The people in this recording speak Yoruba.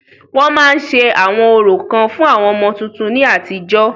Wọ́n ma ń se àwọn orò kan fún àwọn ọmọ tuntun ni àtijọ́.